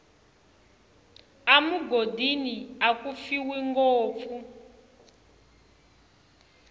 emugodini aku fiwa ngopfu